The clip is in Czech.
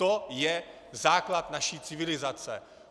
To je základ naší civilizace.